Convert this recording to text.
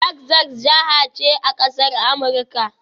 Texas jiha ce a ƙasar Amurika